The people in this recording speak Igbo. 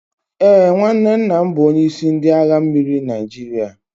Ee, nwanne nna m bụ onyeisi ndị agha mmiri Naijiria